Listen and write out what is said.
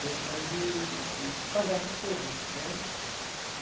condições de de pagar para todas né.